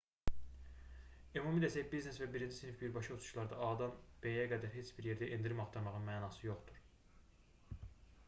ümumi desək biznes və birinci sinif birbaşa uçuşlarda a-dan b-yə qədər heç bir yerdə endirim axtarmağın mənası yoxdur